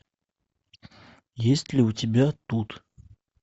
есть ли у тебя тут